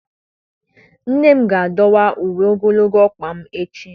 Nne m ga-adọwa uwe ogologo ọkpa m echi